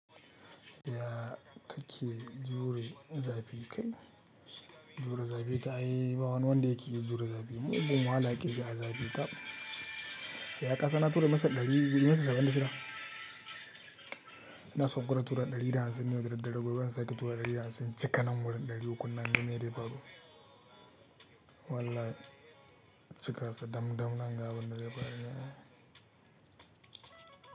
Ya kake jure zafi kai? Jure zafi kan ai ba wani wanda yake jure zafi. Mugun wahala yake ji a zafi ta. Ya kasan na tura massage ɗari, massage saba in da shida. Ina so na gwada tura ɗari da hamsin ne, da daddare gobe zan sake tura ɗari da hamsin. Cika nan wurin ɗari uku nan naga mene zai faru Wallahi, cika sa dam dam nan ga abunda zai faru.